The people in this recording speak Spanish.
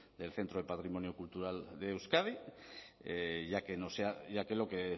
del centro de patrimonio cultural de euskadi ya que lo que